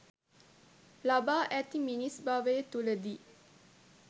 ලබා ඇති මිනිස් භවය තුළදී